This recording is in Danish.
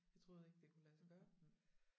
Jeg troede ikke det kunne lade sig gøre